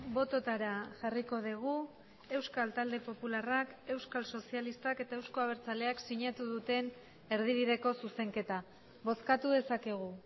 bototara jarriko dugu euskal talde popularrak euskal sozialistak eta euzko abertzaleak sinatu duten erdibideko zuzenketa bozkatu dezakegu